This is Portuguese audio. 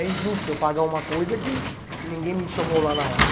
É injusto eu pagar uma coisa que ninguém me chamou lá na hora.